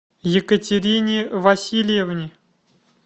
екатерине васильевне